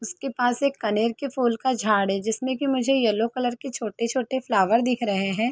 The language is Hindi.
उसके पास एक कनेर के फूल का झाड़ है जिसमें कि मुझे येलो कलर के छोटे छोटे फ्लावर दिख रहे हैं।